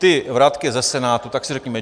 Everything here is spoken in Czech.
Ty vratky ze Senátu, tak si řekněme.